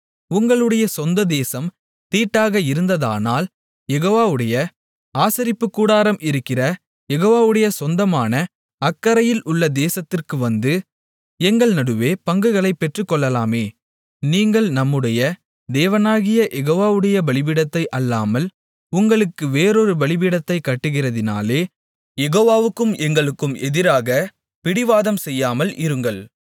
உங்களுடைய சொந்த தேசம் தீட்டாக இருந்ததானால் யெகோவாவுடைய ஆசரிப்புக்கூடாரம் இருக்கிற யெகோவாவுடைய சொந்தமான அக்கரையில் உள்ள தேசத்திற்கு வந்து எங்கள் நடுவே பங்குகளைப் பெற்றுக்கொள்ளலாமே நீங்கள் நம்முடைய தேவனாகிய யெகோவாவுடைய பலிபீடத்தை அல்லாமல் உங்களுக்கு வேறொரு பலிபீடத்தைக் கட்டுகிறதினாலே யெகோவாவுக்கும் எங்களுக்கும் எதிராக பிடிவாதம் செய்யாமல் இருங்கள்